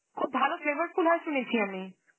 খুব ভালো flavourful হয় শুনেছি আমি.